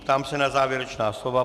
Ptám se na závěrečná slova.